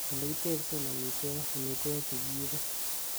ole kitebsen omitwogik omitwogik chegiibe